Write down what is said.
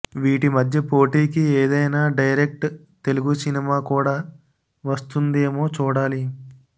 వీటి మధ్య పోటీకి ఏదైనా డైరెక్ట్ తెలుగు సినిమా కూడా వస్తుందేమో చూడాలి